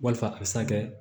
Walima a bɛ se ka kɛ